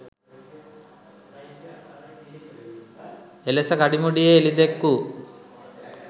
එලෙස කඩිමුඩියේ එළිදැක්වූ